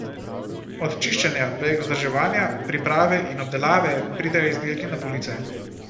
Od čiščenja, prek vzdrževanja, priprave in obdelave pridejo izdelki na police.